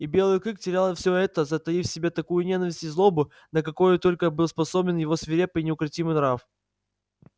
и белый клык терял всё это затаив в себе такую ненависть и злобу на какую только был способен его свирепый и неукротимый нрав